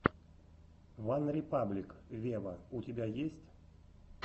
ван репаблик вево у тебя есть